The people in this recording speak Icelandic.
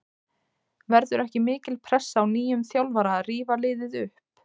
Verður ekki mikil pressa á nýjum þjálfara að rífa liðið upp?